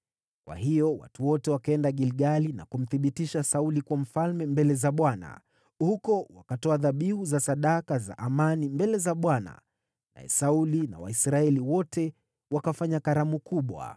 Kwa hiyo watu wote wakaenda Gilgali na kumthibitisha Sauli kuwa mfalme mbele za Bwana . Huko wakatoa dhabihu za sadaka za amani mbele za Bwana , naye Sauli na Waisraeli wote wakafanya karamu kubwa.